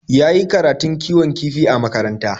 Ya yi karatun kiwon kifi a makaranta.